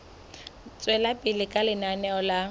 tswela pele ka lenaneo la